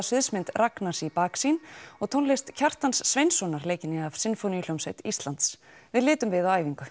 sviðsmynd Ragnars í baksýn og tónlist Kjartans Sveinssonar leikinni af Sinfóníuhljómsveit Íslands við litum við á æfingu